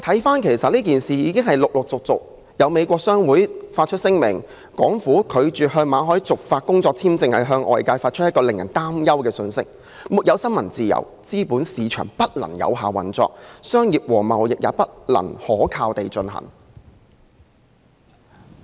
就今次事件，美國商會已發出聲明表示，港府拒絕向馬凱續發工作簽證，是向外界發出一個令人憂慮的信息：沒有新聞自由，資本市場不能有效運作，商業和貿易也不能可靠地進行。